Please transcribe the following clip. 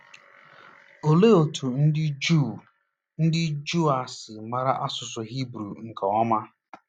Olee otú ndị Juu ndị Juu a si mara asụsụ Hibru nke ọma?